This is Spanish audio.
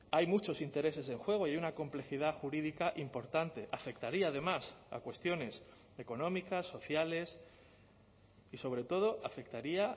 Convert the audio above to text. hay muchos intereses en juego y una complejidad jurídica importante afectaría además a cuestiones económicas sociales y sobre todo afectaría